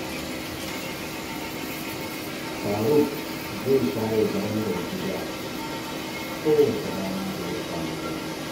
Faruk zai share barandar gida kowace ranar da ya samu dama.